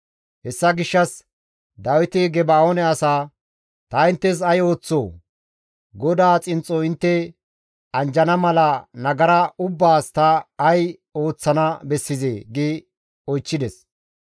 Hessa gishshas Dawiti Geba7oone asaa, «Ta inttes ay ooththoo? GODAA xinxxo intte anjjana mala nagara ubbaas ta ay ooththana bessizee?» gi oychchides.